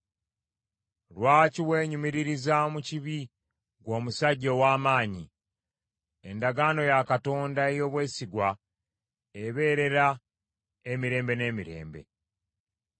Lwaki weenyumiririza mu kibi ggwe omusajja ow’amaanyi? Endagaano ya Katonda ey’obwesigwa ebeerera emirembe n’emirembe.